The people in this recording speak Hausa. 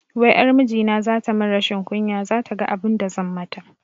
Wai ƴar mijina zata mun rashin kunya, zata ga abinda zan mata